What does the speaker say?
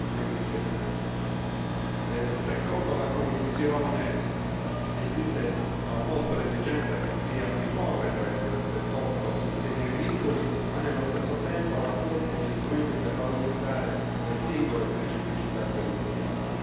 2020. In sede di commissione abbiamo posto l'esigenza che sia uniforme tra i 28 sistemi agricoli ma nello stesso tempo rafforzi gli strumenti per valorizzare le singole specificità territoriali.